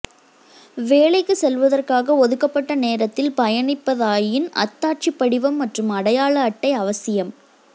வேலைக்கு செல்வதற்காக ஒதுக்கப்பட்ட நேரத்தில் பயணிப்பதாயின் அத்தாட்சிபடிவம் மற்றும் அடையாளஅட்டை அவசியம்